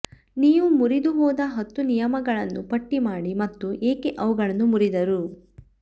ನೀವು ಮುರಿದುಹೋದ ಹತ್ತು ನಿಯಮಗಳನ್ನು ಪಟ್ಟಿ ಮಾಡಿ ಮತ್ತು ಏಕೆ ಅವುಗಳನ್ನು ಮುರಿದರು